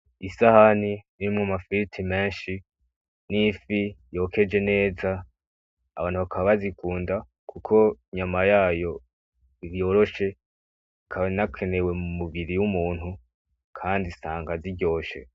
Isahani irimwo amafiriti menshi n'ifi yokeje neza, abantu bakaba bazikunda kuko inyama yayo yoroshe, ikaba inakenewe mu mubiri w'umuntu, kandi usanga ziryoshe.